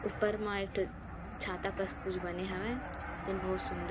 ऊपर मा एक ठ छाता कस कुछ बने हवे देन बहुत सूंदर .--